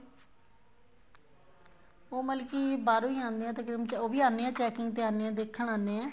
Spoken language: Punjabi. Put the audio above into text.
ਉਹ ਮਤਲਬ ਕੀ ਬਾਹਰੋ ਹੀ ਆਣੇ ਏ ਤਕਰੀਬਨ ਉਹ ਵੀ ਆਣੇ ਏ checking ਤੇ ਆਣੇ ਏ ਦੇਖਣ ਆਣੇ ਏ